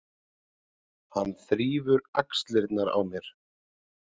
Hann þrífur í axlirnar á mér.